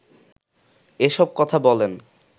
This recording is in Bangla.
এসব কথা বলেন